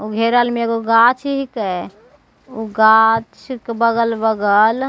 उ घेरल मे एगो गाछ हीके उ गाछ के बगल-बगल --